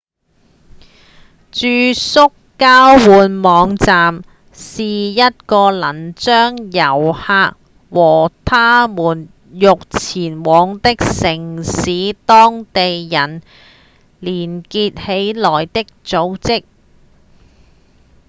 住宿交換網站是一個能將遊客和他們欲前往的城市當地人連結起來的組織